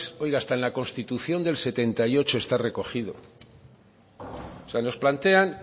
oiga hasta en la constitución del setenta y ocho está recogido nos plantean